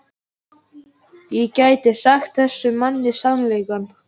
Ég gæti sagt þessum manni sannleikann.